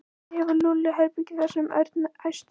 Kannski hefur Lúlli herbergi þar sagði Örn æstur.